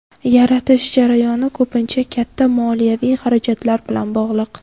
Yaratish jarayoni ko‘pincha katta moliyaviy xarajatlar bilan bog‘liq.